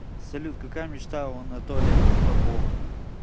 салют какая мечта у анатолия попова